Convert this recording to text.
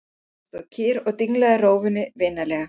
Hann stóð kyrr og dinglaði rófunni vinalega.